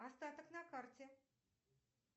остаток на карте